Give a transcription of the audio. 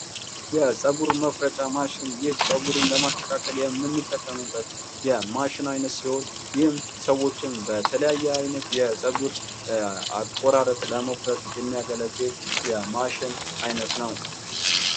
የፀጉር መቁረጫ ማሽን ፦ ይህ ፀጉርን ለማስተካከል የምንጠቀምበት የማሽን አይነት ሲሆን ይህም ሰዎችን በተለያየ አይነት የፀጉር አቆራረጥ ለመቁረጥ የሚያገለግል የማሽን አይነት ነው ።